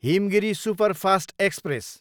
Himgiri superfast express